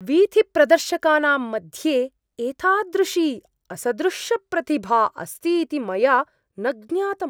वीथिप्रदर्शकानां मध्ये एतादृशी असदृशप्रतिभा अस्ति इति मया न ज्ञातम्।